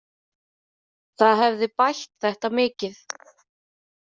Það hefði bætt þetta mikið.